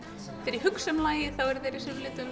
þegar ég hugsa um lagið þá eru þeir í